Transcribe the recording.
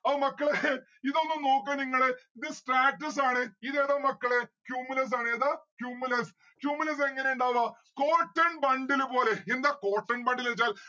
ആ മക്കളെ ഇതൊന്ന് നോക്ക നിങ്ങള് ഇത് stratus ആണ് ഇതേതാ മക്കളെ cumulus ആണ്. ഏതാ cumulus. cumulus എങ്ങനെ ഇണ്ടാവാ? cotton bundle പോലെ എന്താ cotton bundle വെച്ചാൽ